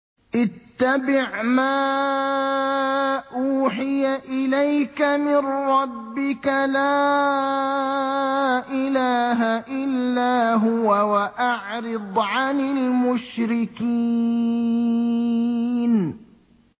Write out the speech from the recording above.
اتَّبِعْ مَا أُوحِيَ إِلَيْكَ مِن رَّبِّكَ ۖ لَا إِلَٰهَ إِلَّا هُوَ ۖ وَأَعْرِضْ عَنِ الْمُشْرِكِينَ